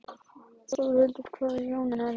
Þórhildur: Hvaða Jónar eruð þið?